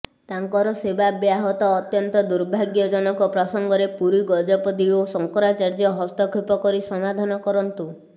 ତାଙ୍କର ସେବା ବ୍ୟାହତ ଅତ୍ୟନ୍ତ ଦୁର୍ଭାଗ୍ୟଜନକ ପ୍ରସଙ୍ଗରେ ପୁରୀ ଗଜପତି ଓ ଶଙ୍କରାଚାର୍ଯ୍ୟ ହସ୍ତକ୍ଷେପ କରି ସମାଧନ କରନ୍ତୁ